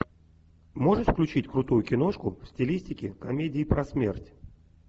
можешь включить крутую киношку в стилистике комедии про смерть